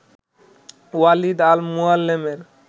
Walid al মুয়াল্লেমের